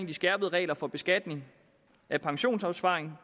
de skærpede regler for beskatning af pensionsopsparing